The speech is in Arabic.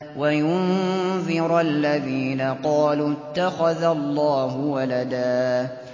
وَيُنذِرَ الَّذِينَ قَالُوا اتَّخَذَ اللَّهُ وَلَدًا